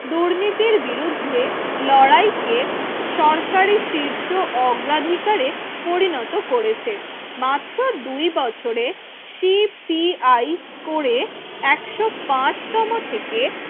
দুর্নীতির বিরুদ্ধে লড়াইকে সরকারি শীর্ষ অগ্রাধিকারে পরিণত করেছে মাত্র দুই বছরে শিপ টি আই করে একশো পাঁচ তম থেকে